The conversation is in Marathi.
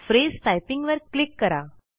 फ्रेज टायपिंग वर क्लिक करा